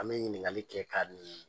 An bɛ ɲininkali kɛ ka